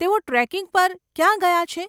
તેઓ ટ્રેકિંગ પર ક્યાં ગયા છે?